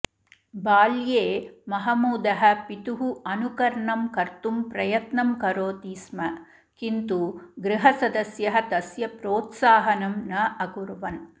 बाल्ये महमूदः पितुः अनुकर्णं कर्तुं प्रयत्नं करोति स्म किन्तु गृहसदस्यः तस्य प्रोत्साहनं न अकुर्वन्